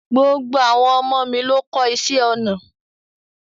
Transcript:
Gbogbo àwọn ọmọ mi ló kọ́ iṣé ọnà.